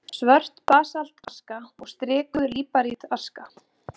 Svört basaltaska og strikuð líparítaska.